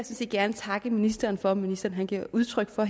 set gerne takke ministeren for at ministeren giver udtryk for